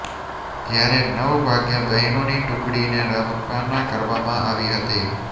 જ્યારે નવ વાગે બહેનોની ટુકડીને રવાના કરવામાં આવી હતી